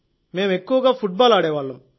మేం ఎక్కువగా ఫుట్బాల్ ఆడేవాళ్ళం